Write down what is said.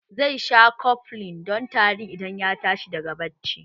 Zai sha koflin don tari idan ya tashi daga barci